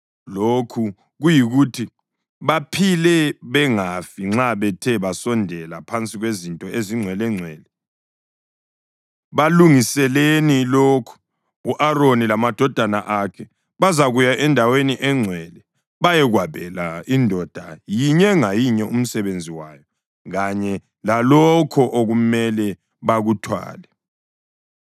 Lokhu kuyikuthi baphile bengafi nxa bethe basondela phansi kwezinto ezingcwelengcwele, balungiseleni lokhu: U-Aroni lamadodana akhe bazakuya endaweni engcwele bayekwabela indoda yinye ngayinye umsebenzi wayo kanye lalokho okumele bakuthwale.